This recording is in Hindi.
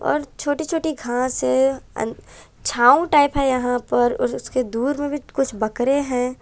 और छोटी छोटी घांस है अन छांव टाइप है यहां पर और उसके दूर में भी कुछ बकरे है।